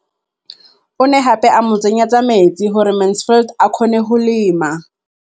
O ne gape a mo tsenyetsa metsi gore Mansfield a kgone go lema.